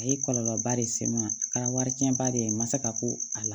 A ye kɔlɔlɔba de se n ma a kɛra wari cɛnba de ye n ma se ka ko a la